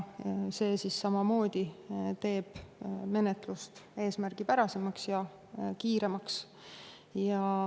See teeb samamoodi menetlust eesmärgipärasemaks ja kiiremaks.